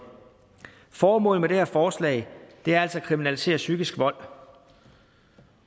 formålet med det her forslag er altså at kriminalisere psykisk vold